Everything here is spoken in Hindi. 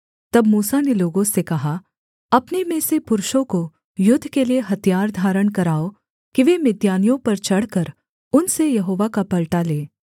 तब मूसा ने लोगों से कहा अपने में से पुरुषों को युद्ध के लिये हथियार धारण कराओ कि वे मिद्यानियों पर चढ़कर उनसे यहोवा का पलटा लें